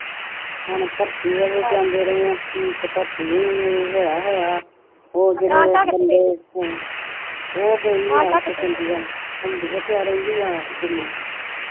ਹੁਣ ਪਰਤੀ ਹੋਏ ਜਾਂਦੇ ਰਹੇ ਆ ਤੇ ਪਰਤੀ ਵੀ ਹੋਇਆ ਹੋਇਆ ਉਹ ਜੇਹੜੇ ਬੰਦੇ ਉਹ ਗਈ ਆ ਉਹ ਤੇ ਚੰਡੀਗੜ੍ਹ ਉਥੇ ਉਹ ਰਹਿੰਦੀ ਆ ਦਿੱਲੀ